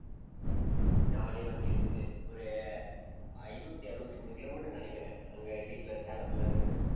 jolly ஆ வண்டி எடுத்துட்டு ஒரு ஐந்நூத்தி அறுபத்தி மூணு kilometer ன்னு நினைக்கிறேன். அங்க வீட்டுல, சேலத்துல இருந்து